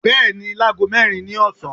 bẹẹni, làgó mẹrin ni ọsan.